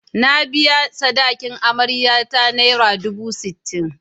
Na biya sadakin amaryata naira dubu sittin.